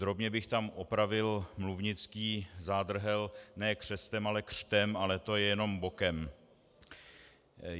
Drobně bych tam opravil mluvnický zádrhel - ne křestem, ale křtem, ale to je jenom bokem.